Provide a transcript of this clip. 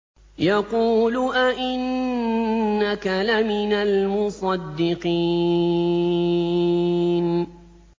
يَقُولُ أَإِنَّكَ لَمِنَ الْمُصَدِّقِينَ